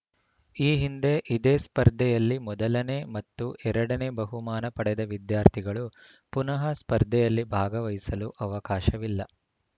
ಈ ಹಿಂದೆ ಇದೇ ಸ್ಪರ್ಧೆಯಲ್ಲಿ ಮೊದಲನೇ ಮತ್ತು ಎರಡನೇ ಬಹುಮಾನ ಪಡೆದ ವಿದ್ಯಾರ್ಥಿಗಳು ಪುನಃ ಸ್ಪರ್ಧೆಯಲ್ಲಿ ಭಾಗವಹಿಸಲು ಅವಕಾಶವಿಲ್ಲ